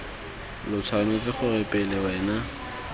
lo tshwanetse gore pele wena